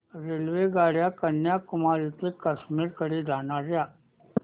रेल्वेगाड्या कन्याकुमारी ते काश्मीर कडे जाणाऱ्या